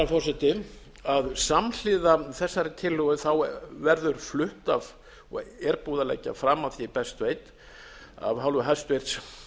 herra forseti að samhliða þessari tillögu verður flutt er búið að leggja fram að því er ég best veit af hálfu hæstvirts